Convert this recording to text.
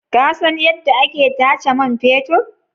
Ka san yadda ake tace man fetur?